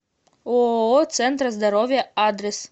ооо центр здоровья адрес